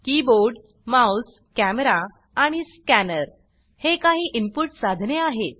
keyboard mouse camera आणि scanner हे काही इनपुट साधने आहेत